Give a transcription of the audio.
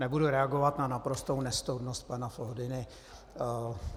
Nebudu reagovat na naprostou nestoudnost pana Foldyny.